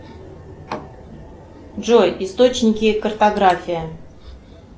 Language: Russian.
джой источники картография